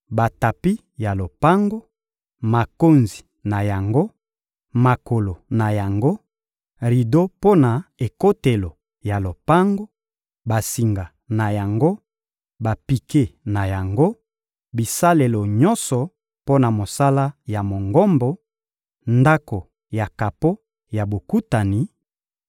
batapi ya lopango, makonzi na yango, makolo na yango, rido mpo na ekotelo ya lopango, basinga na yango, bapike na yango, bisalelo nyonso mpo na mosala ya Mongombo, Ndako ya kapo ya Bokutani,